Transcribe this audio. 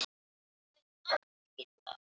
Þetta var stóri bróðir minn.